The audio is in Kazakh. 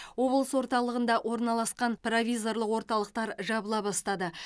облыс орталығында орналасқан провизорлық орталықтар жабыла бастады